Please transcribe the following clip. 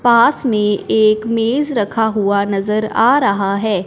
पास में एक मेज रखा हुआ नजर आ रहा है।